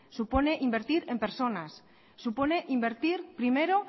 supone invertir en personas supone invertir primero